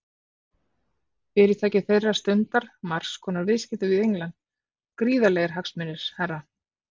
Fyrirtæki þeirra stundar margs konar viðskipti við England, gríðarlegir hagsmunir, herra.